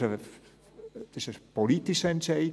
Es war ein politischer Entscheid.